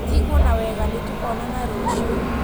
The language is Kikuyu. Tiguo na wega nĩtũkonana rũcio